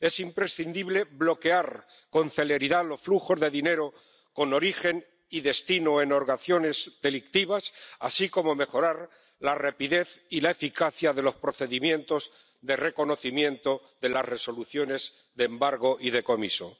Es imprescindible bloquear con celeridad los flujos de dinero con origen y destino en organizaciones delictivas, así como mejorar la rapidez y la eficacia de los procedimientos de reconocimiento de las resoluciones de embargo y decomiso.